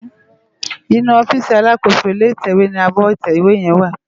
Inú òfisí àlákósó ilé itèwé ni ábò itèwé yèn wá